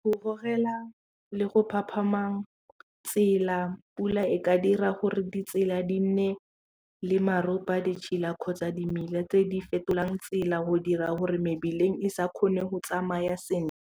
Go gogela le go phaphama tsela pula e ka dira gore ditsela di nne le maropa a ditšhila kgotsa dimela tse di fetolang tsela go dira gore mebileng e sa kgone go tsamaya sentle.